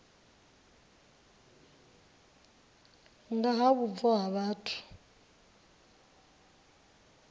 nga ha vhubvo ha vhathu